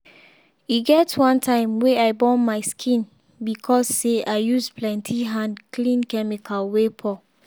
e get one time wey i burn my skin because say i use plenty hand clean chemical wey pour.